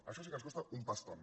això sí que ens costa un paston